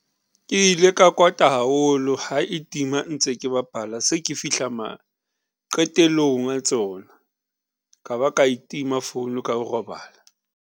Ke ile ka kwata haholo ha e tima ntse ke bapala, se ke fihla ma qetellong a tsona, ka ba ka e tima phone ka robala.